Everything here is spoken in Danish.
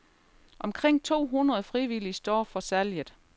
Omkring to hundrede frivillige står for salget.